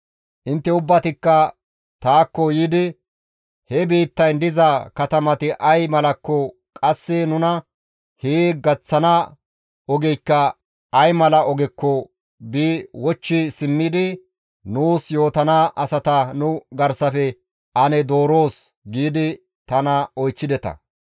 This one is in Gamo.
«Intte ubbatikka taakko yiidi, ‹He biittayn diza katamati ay malakko qasse nuna hee gaththana ogeykka ay mala ogekko bi wochchi simmidi nuus yootana asata nu garsafe ane dooroos› giidi tana oychchideta.